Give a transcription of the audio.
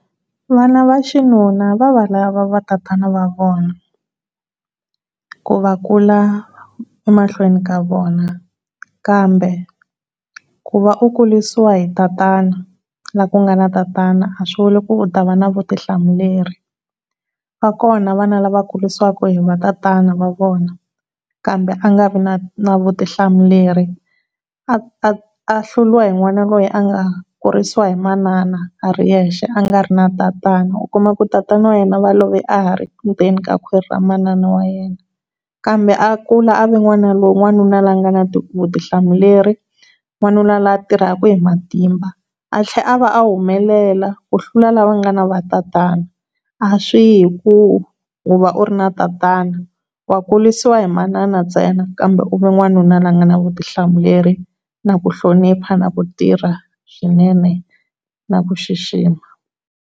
Vana va xinuna va va lava va tatana va vona ku va kula emahlweni ka vona kambe ku va u kurisiwa hi tatana la ku nga na tatana a swivuri ku u ta va na vutihlamuleri va kona vana lava kurisiwa hi tatana wa vona kambe a nga vi na na vutihlamuleri a a hluriwa hi n'wana loyi a nga kurisa hi manana a ri yexe a nga ri na tatana u kuma ku tatana wa yena va love a ha ri ndzeni ka khwirini ka kwhwiri ra manana wa yena kambe a kula a va wanuna loyi a nga na vutihlamuleri, wanuna loyi a tirhaka hi matimba, a tlhela a va a humelela ku tlula lava nga na va tatana, a swi yi hi ku u va u ri na tatana wa kurisiwa hi manana ntsena kambe u va wanuna loyi a nga na vutihlamuleri, na ku hlonipha, na ku tirha swinene na ku xixima.